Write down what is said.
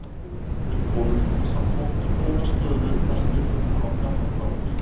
Við komumst samt oft í góða stöðu þar sem við tökum rangar ákvarðanir.